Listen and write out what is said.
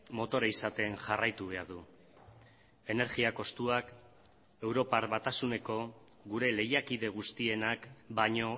motore izaten jarraitu behar du energia kostuak europar batasuneko gure lehiakide guztienak baino